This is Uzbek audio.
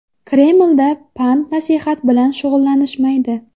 Kremlda pand-nasihat bilan shug‘ullanishmaydi.